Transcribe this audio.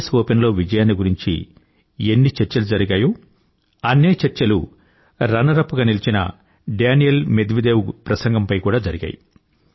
yes open లో విజయాన్ని గురించి ఎన్ని చర్చలు జరిగాయో అన్నే చర్చలు రన్నర్ అప్ గా నిలిచిన డానీల్ మేద్వేదేవ్ ప్రసంగం పై కూడా జరిగాయి